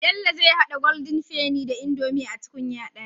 Bello zai hada golden penny da indomie a tukunya daya